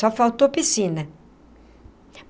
Só faltou piscina.